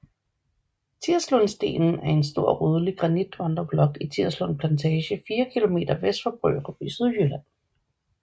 Tirslundstenen er en stor rødlig granitvandreblok i Tirslund Plantage 4 km vest for Brørup i Sydjylland